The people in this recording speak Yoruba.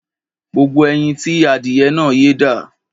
Gbogbo ẹyin tí adìyẹ náà yé dà?